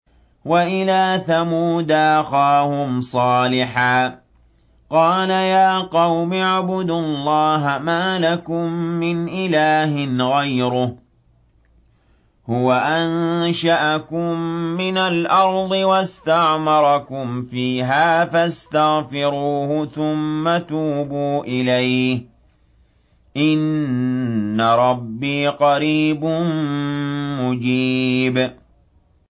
۞ وَإِلَىٰ ثَمُودَ أَخَاهُمْ صَالِحًا ۚ قَالَ يَا قَوْمِ اعْبُدُوا اللَّهَ مَا لَكُم مِّنْ إِلَٰهٍ غَيْرُهُ ۖ هُوَ أَنشَأَكُم مِّنَ الْأَرْضِ وَاسْتَعْمَرَكُمْ فِيهَا فَاسْتَغْفِرُوهُ ثُمَّ تُوبُوا إِلَيْهِ ۚ إِنَّ رَبِّي قَرِيبٌ مُّجِيبٌ